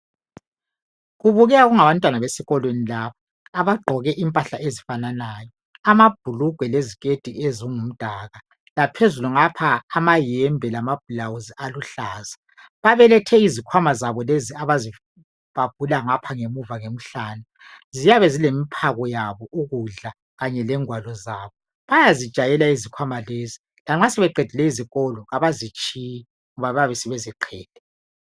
Kubukeka kungabantwana besikolweni laba abagqoke imphahla ezifananayo amabhulugwe leziketi ezingumdaka laphezulu ngapha amayembe lama bhulawuzi aluhlaza babelethe izikhwama zabo lezi abazibhabhula ngapha ngemuza emihlane siyabe zithwele imiphako yabo ukudla kanye lezingwalo zabo bayazijwayela izikhwama lezi lanxa sebeedile isikolo abazitshiyi